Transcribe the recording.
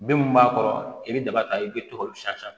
Bin min b'a kɔrɔ i bɛ daba ta i bɛ tɔgɔ min san